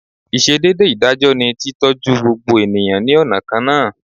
Ìsedédé ìdájọ́ ni tí tọ́jú gbogbo ènìyàn ní ọ̀nà kan náà